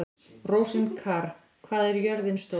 Rósinkar, hvað er jörðin stór?